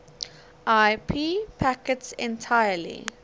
ip packets entirely